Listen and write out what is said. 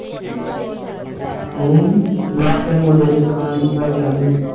ਹੱਮ ਮੈ ਕਯਾ ਆਪਣੇ ਮੁੰਡੇ ਦੇ ਸੁਣਾ ਕਿ ਹਾਲ ਚਾਲ ਨੇ